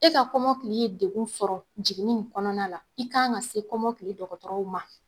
E ka kɔmɔkili ye degun sɔrɔ jiginni in kɔnɔna la i ka kan ka se kɔmɔkile dɔgɔtɔrɔw ma.